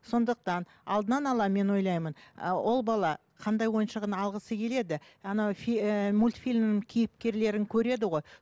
сондықтан алдынан ала мен ойлаймын ы ол бала қандай ойыншығын алғысы келеді ана ііі мультфильмнің кейіпкерлерін көреді ғой